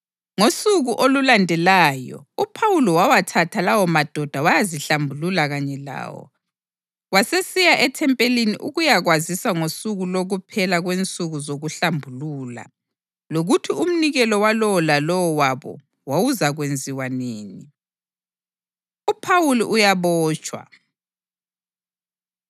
Ngosuku olulandelayo uPhawuli wawathatha lawomadoda wayazihlambulula kanye lawo. Wasesiya ethempelini ukuyakwazisa ngosuku lokuphela kwensuku zokuhlambulula lokuthi umnikelo walowo lalowo wabo wawuzakwenziwa nini. UPhawuli Uyabotshwa